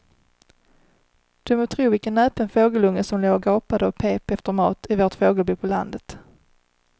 Du må tro vilken näpen fågelunge som låg och gapade och pep efter mat i vårt fågelbo på landet.